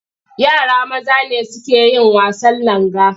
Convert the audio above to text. Yara maza ne suke yin wasan langa.